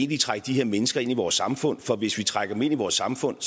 trække de her mennesker ind i vores samfund for hvis vi trækker dem ind i vores samfund